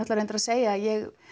reyndar að segja að ég